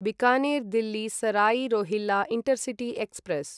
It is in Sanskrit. Bikaner Delhi Sarai Rohilla intercity express